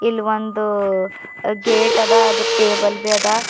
ಇಲ್ ಒಂದು ಗೇಟ್ ಅದ ಅದು ಟೇಬಲ್ಬಿ ಅದ.